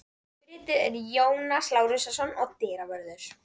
Bryti er Jónas Lárusson og dyravörður